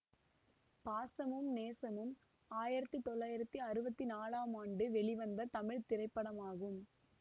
பாசமும் நேசமும் ஆயிரத்தி தொள்ளாயிரத்தி அறுபத்தி நாலாம் ஆண்டு வெளிவந்த தமிழ் திரைப்படமாகும்